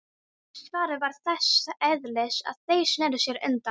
Svarið var þess eðlis að þeir sneru sér undan.